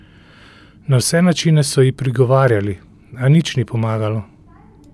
Na vse načine so ji prigovarjali, a ni nič pomagalo.